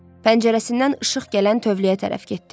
Pəncərəsindən işıq gələn tövləyə tərəf getdi.